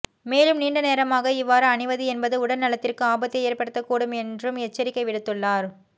மேலும் நீண்ட நேரமாக இவ்வாறு அணிவது என்பது உடல் நலத்திற்கு ஆபத்தை ஏற்படுத்த கூடும் என்றும் எச்சரிக்கை விடுத்துள்ளார்